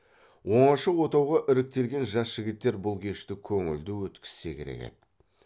оңаша отауға іріктелген жас жігіттер бұл кешті көңілді өткізсе керек еді